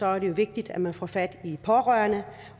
er det vigtigt at man får fat i pårørende